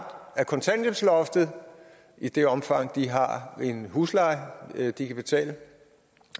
af kontanthjælpsloftet i det omfang de har en husleje de kan betale